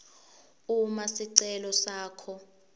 uma sicelo sakho